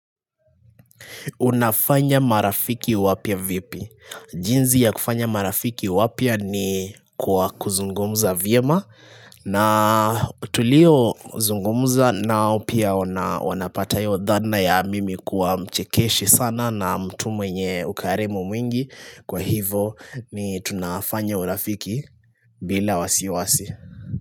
Unafanya marafiki wapya vipi? Jinsi ya kufanya marafiki wapya ni kwa kuzungumza vyema na tuliozungumza nao pia wanapata hio dhana ya mimi kuwa mchekeshi sana na mtu mwenye ukarimu mwingi Kwa hivo ni tunafanya urafiki bila wasiwasi.